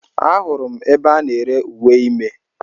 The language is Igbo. Ahụrụ m ebe a na-ere uwe ime